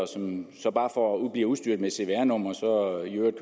som så bare bliver udstyret med et cvr nummer og i øvrigt